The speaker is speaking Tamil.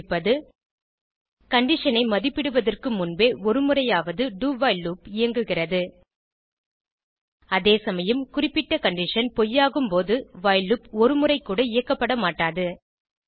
இது குறிப்பது கண்டிஷன் ஐ மதிப்பிடுவதற்கு முன்பே ஒருமுறையாவது do வைல் லூப் இயங்குகிறது அதேசமயம் குறிப்பிடப்பட்ட கண்டிஷன் பொய்யாகும்போது வைல் லூப் ஒருமுறைக்கூட இயக்கப்படமாட்டாது